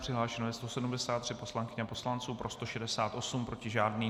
Přihlášeno je 173 poslankyň a poslanců, pro 168, proti žádný.